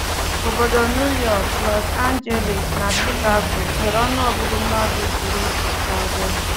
Obodo New York, Los Angeles, na Chicago nwere ọnụọgụgụ mmadụ buru ibu karịa.